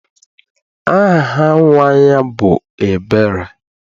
Aha nnwa ya bụ Ebere.